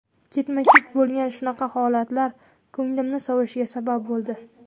Ketma-ket bo‘lgan shunaqa holatlar ko‘nglimning sovishiga sabab bo‘ldi.